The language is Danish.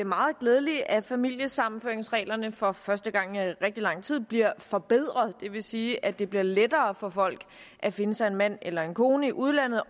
meget glædeligt at familiesammenføringsreglerne for første gang i rigtig lang tid bliver forbedret det vil sige at det bliver lettere for folk at finde sig en mand eller en kone i udlandet